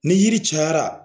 Ni yiri cayara